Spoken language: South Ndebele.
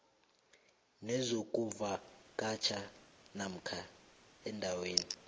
nezokuvakatjha namkha endaweni